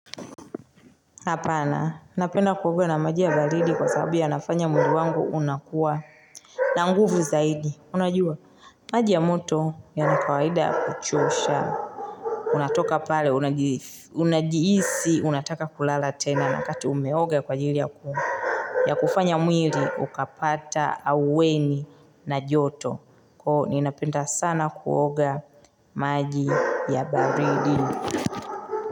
Hapana, napenda kuoga na maji ya baridi kwa sababu nafanya mundi wangu unakuwa na nguvu zaidi. Unajua, maji ya moto ya nakawaida kuchusha. Unatoka pale, unajiisi, unataka kulala tena na kati umeoga kwa jili ya kuhu. Ya kufanya mwili, ukapata aweni na joto. Kuhu, ninapenda sana kuoga maji ya baridi.